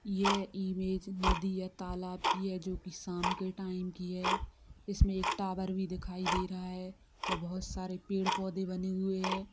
ये इमेज नदी या तालाब की है जो की शाम के टाइम की है इसमें एक टावर भी दिखाई रहा है वो बहुत सरे पेड़-पौधे भी बने हुए है।